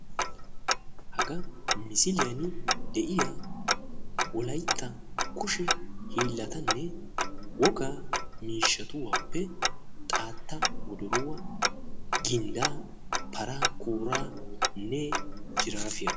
Hagan misiliyan de'iyaa wolaytta kushe hiillatanne wogaa miishatuwappe xaatta, wodoruwaa, ginddaa, paraa kooranne jiraafiyaa.